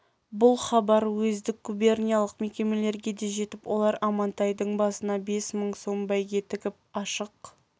бұл хабар уездік губерниялық мекемелерге де жетіп олар амантайды басына бес мың сом бәйге тігіп ашық